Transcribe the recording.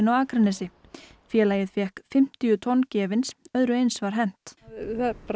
á Akranesi félagið fékk fimmtíu tonn gefins öðru eins var hent það